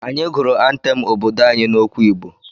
Anyị gụrụ antem obodo anyị n'okwu Igbo.